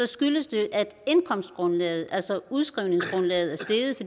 skyldes det at indkomstgrundlaget altså udskrivningsgrundlaget